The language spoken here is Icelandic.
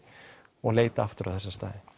og leita aftur á þessa staði